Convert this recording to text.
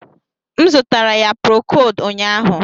M zụtara ya prokod ụnyahụ